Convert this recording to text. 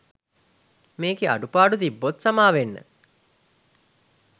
මේකෙ අඩුපාඩු තිබ්බොත් සාමවෙන්න